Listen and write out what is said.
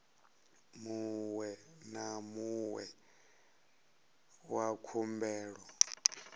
muṅwe na muṅwe wa khumbelo